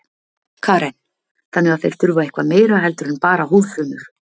Karen: Þannig að þeir þurfa eitthvað meira heldur en bara húðfrumur?